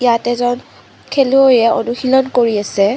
ইয়াত এজন খেলুৱৈয়ে অনুশীলন কৰি আছে।